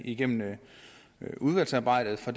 igennem udvalgsarbejdet for